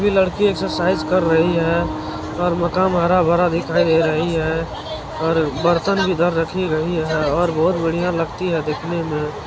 ये लड़की एक्ससाइज कर रही हैं और मकान हरा भरा दिख रही है और बर्तन भी इधर रखी रही है और बहोत बढिया लगती है देखने में।